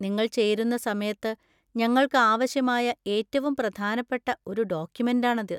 നിങ്ങൾ ചേരുന്ന സമയത്ത് ഞങ്ങൾക്ക് ആവശ്യമായ ഏറ്റവും പ്രധാനപ്പെട്ട ഒരു ഡോക്യുമെന്‍റാണിത്.